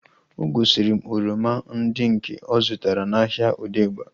O gosiri m oroma ndị nke ọ zụtara n'ahia Odegba